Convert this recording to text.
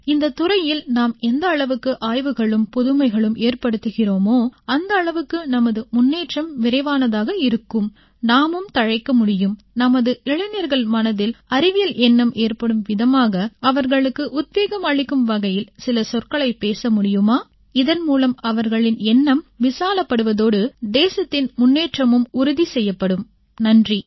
இந்தத்துறையில் நாம் எந்த அளவுக்கு ஆய்வுகளும் புதுமைகளும் ஏற்படுத்துகிறோமோ அந்த அளவுக்கு நமது முன்னேற்றம் விரைவானதாக இருக்கும் நாமும் தழைக்க முடியும் நமது இளைஞர்கள் மனதில் அறிவியல் எண்ணம் ஏற்படும் விதமாக அவர்களுக்கு உத்வேகம் அளிக்கும் வகையில் சில சொற்களைப் பேசமுடியுமா இதன் மூலம் அவர்களின் எண்ணம் விசாலப்படுவதோடு தேசத்தின் முன்னேற்றமும் உறுதி செய்யப்படும் நன்றி